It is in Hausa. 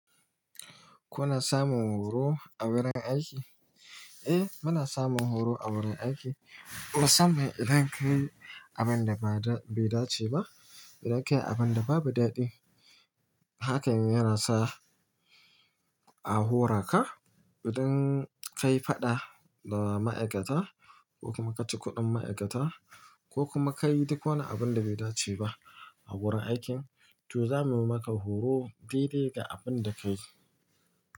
Kuna samun horo a wurin aiki? Eh, muna samun horo a wurin aiki. Saboda idan kayi abinda bai dace ba, idan kayi abinda babu daɗi, hakan yanasa a horaka. Idan kayi faɗa da ma'aikata, ko kuma kaci kuɗin ma'aikata, ko kuma kayi duk wani abinda bai dace ba a wurin aikin, to zamu maka horo dai-dai ga abinda kayi.